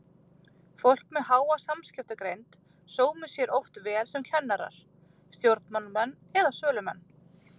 Fólk með háa samskiptagreind sómir sér oft vel sem kennarar, stjórnmálamenn eða sölumenn.